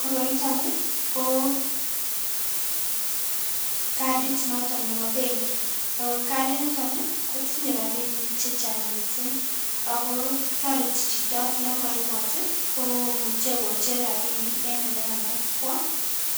Koroiton Ii ko cadit noton nebo benki ako cadiniton ii kotinye rabinik chechang mising Ako toreti chito yon koibot ii Koo komuche kocher rabinik enn ole kamach kwo